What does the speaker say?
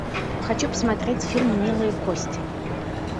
хочу посмотреть фильм милые кости